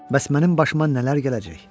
Bəs mənim başıma nələr gələcek?